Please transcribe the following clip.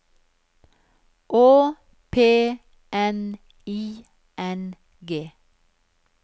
Å P N I N G